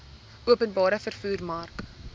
openbare vervoer mark